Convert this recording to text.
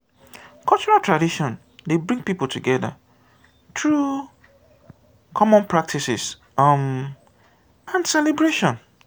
cultural tradition dey bring pipo together through common practices um and celebration